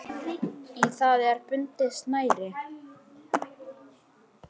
Í það er bundið snæri.